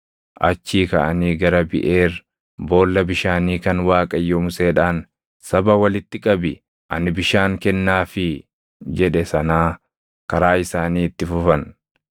Achii kaʼanii gara Biʼeer boolla bishaanii kan Waaqayyo Museedhaan, “Saba walitti qabi; ani bishaan kennaafii” jedhe sanaa karaa isaanii itti fufan.